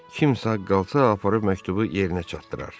Kimsə qalsa aparıb məktubu yerinə çatdırar.